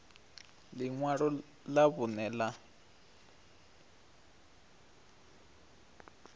ḽi ṅwalo ḽa vhuṋe ḽa